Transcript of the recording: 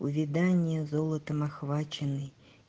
увядание золотом охваченный